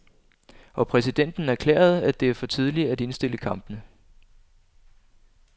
Og præsidenten erklærede, at det er for tidligt at indstille kampene.